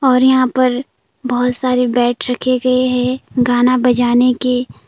और यहां पर बहोत सारे बैट रखे गए हैं गाना बजाने के।